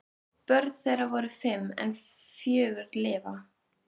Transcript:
Börn þeirra voru fimm en fjögur lifa.